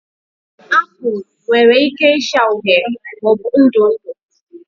Apụl nwere ike ịcha uhie maọbụ ndụ ndụ